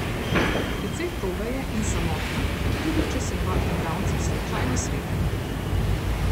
Precej toga je in samotna, tudi če se dva igralca slučajno srečata.